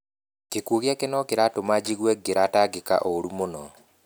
Gĩkuũ gĩake no kĩratũma njigue ngĩratangĩka ũũru mũno.